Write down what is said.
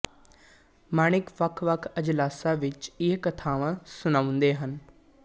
ਮਾਣਿਕ ਵੱਖਵੱਖ ਅਜਲਾਸਾਂ ਵਿੱਚ ਇਹ ਕਥਾਵਾਂ ਸੁਣਾਉਂਦੇ ਹਨ